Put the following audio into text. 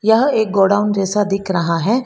यह एक गोडाउन जैसा दिख रहा है।